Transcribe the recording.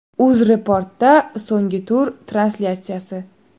UzReport’da so‘nggi tur translyatsiyasi.